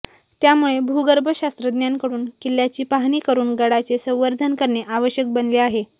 त्यामुळे भूगर्भशास्त्रज्ञांकडून किल्ल्याची पाहणी करून गडाचे संवर्धन करणे आवश्यक बनले आहे